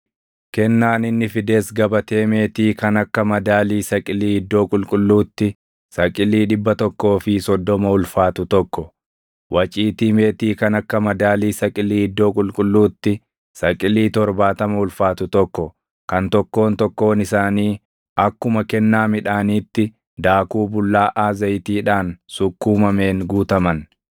Kennaan inni fides gabatee meetii kan akka madaalii saqilii iddoo qulqulluutti saqilii dhibba tokkoo fi soddoma ulfaatu tokko, waciitii meetii kan akka madaalii saqilii iddoo qulqulluutti saqilii torbaatama ulfaatu tokko kan tokkoon tokkoon isaanii akkuma kennaa midhaaniitti daakuu bullaaʼaa zayitiidhaan sukkuumameen guutaman,